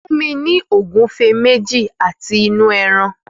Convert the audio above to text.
Fún mi ní ògúfe méjì àti inú ẹran!